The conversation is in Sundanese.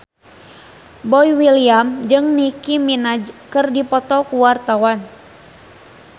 Boy William jeung Nicky Minaj keur dipoto ku wartawan